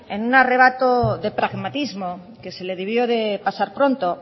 en un arrebato de pragmatismo que se le debió de pasar pronto